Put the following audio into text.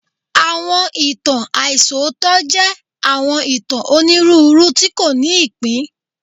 Awọn itan aisọtọ jẹ awọn itan oniruuru ti ko ni ipin